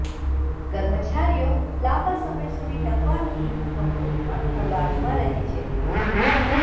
કર્મચારીઓ લાંબા સમય સુધી ટકવાથી કંપની પણ હળવાશમાં રહે છે